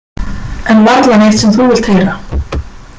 En varla neitt sem þú vilt heyra.